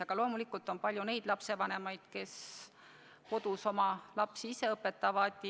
Aga loomulikult on lapsevanemaid, kes kodus oma lapsi ise õpetavad.